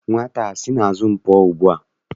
Nwata a sị n'azụ m pụọ ugbua!